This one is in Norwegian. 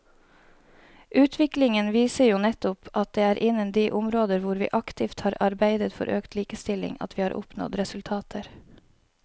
Utviklingen viser jo nettopp at det er innen de områder hvor vi aktivt har arbeidet for økt likestilling at vi har oppnådd resultater.